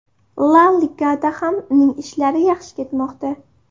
La Ligada ham uning ishlari yaxshi ketmoqda.